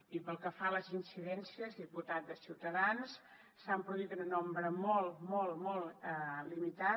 i pel que fa a les incidències diputat de ciutadans s’han produït en un nombre molt molt molt limitat